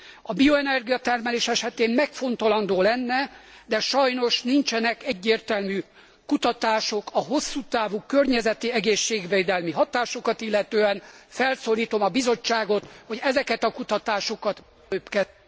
A bioenergia termelés esetén megfontolandó lenne, de sajnos nincsenek egyértelmű kutatások a hosszú távú környezeti, egészségvédelmi hatásokat illetően. Felszólítom a Bizottságot, hogy ezeket a kutatásokat mielőbb kezdjék el!